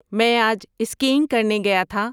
میں آج اسکینگ کرنے گیا تھا